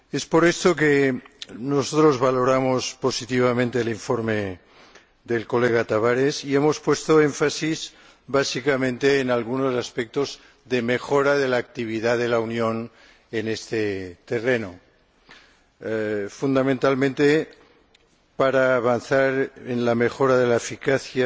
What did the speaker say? Por eso, nosotros valoramos positivamente el informe del señor Tavares y hemos puesto el énfasis básicamente en algunos aspectos de mejora de la actividad de la Unión en este terreno, fundamentalmente para avanzar en la mejora de la eficacia,